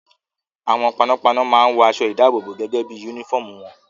Àwọn panápaná máa ń wọ aṣọ-ìdáàbòbò gẹ́gẹ́ bí i únífọ́ọ́mù wọn.